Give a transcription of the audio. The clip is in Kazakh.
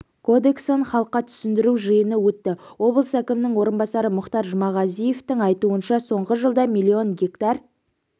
кодексін халыққа түсіндіру жиыны өтті облыс әкімінің орынбасары мұхтар жұмағазиевтің айтуынша соңғы жылда миллион гектар